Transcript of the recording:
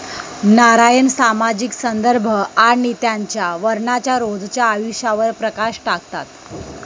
नारायण सामाजिक संदर्भ आणि त्यांच्या वर्णाच्या रोजच्या आयुष्यावर प्रकाश टाकतात.